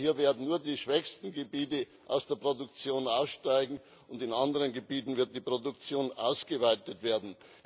Denn hier werden nur die schwächsten Gebiete aus der Produktion aussteigen, und in anderen Gebieten wird die Produktion ausgeweitet werden.